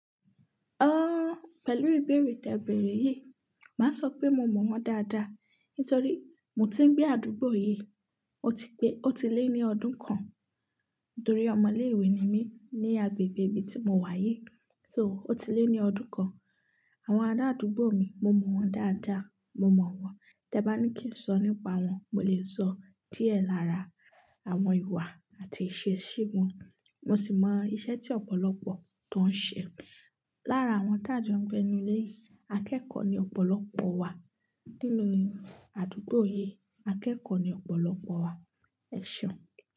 Pẹ̀lú ìbéèrè tẹ̀bẹ̀rẹ̀ yìí, màá sọ pé mo mọ̀ wọ́n dáadáa. Nítorí mo ti ń gbé àdúgbò yìí, ó ti pé, ó ti lé ní ọdún kan. Nítorí ọmọ ilé ìwé ni mí ní agbègbè ibi tí mo wà yìí. So ó ti lé ní ọdún kan. Àwọn ará àdúgbò mi, mo mọ̀ wọ́n dáadáa, mo mọ̀ wọ́n. Tẹ bá ní kí n sọ nípa wọn, mo lè sọ díẹ̀ lára àwọn ìwà àti ìṣesí wọn. Mo sì mọ iṣẹ́ tí ọ̀pọ̀lọpọ̀ tó ń ṣe. Lára àwọn tá jọ ń gbé inu ilé yìí, akẹ́kọ̀ọ́ ni ọ̀pọ̀lọpọ̀ wa. Nínú àdúgbò yìí, akẹ́kọ̀ọ́ ni ọ̀pọ̀lọpọ̀ wa. Ẹ̀ṣeun.